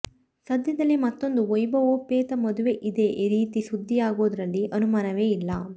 ಸದ್ಯದಲ್ಲೇ ಮತ್ತೊಂದು ವೈಭವೋಪೇತ ಮದುವೆ ಇದೇ ರೀತಿ ಸುದ್ದಿಯಾಗೋದ್ರಲ್ಲಿ ಅನುಮಾನವೇ ಇಲ್ಲ